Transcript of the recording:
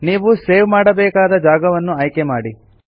ನೀವು ಸೇವ್ ಮಾಡಬೇಕಾದ ಜಾಗವನ್ನು ಆಯ್ಕೆ ಮಾಡಿ